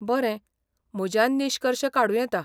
बरें, म्हज्यान निश्कर्श काडूं येता.